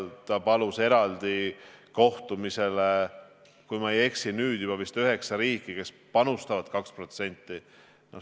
Ta palus eraldi kohtumisele, kui ma ei eksi, esindajad nüüd juba üheksast riigist, kes panustavad 2%.